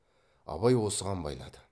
абай осыған байлады